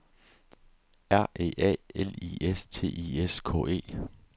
R E A L I S T I S K E